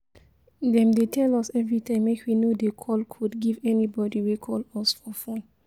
Dem dey tell us everytime make we no dey call code give anybody wey call us for phone